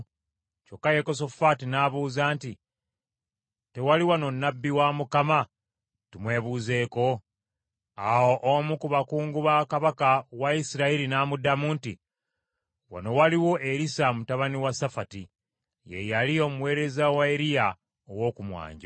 Kyokka Yekosafaati n’abuuza nti, “Tewali wano nnabbi wa Mukama tumwebuuzeeko?” Awo omu ku bakungu ba kabaka wa Isirayiri n’amuddamu nti, “Wano waliwo Erisa mutabani wa Safati. Ye yali omuweereza wa Eriya ow’oku mwanjo.”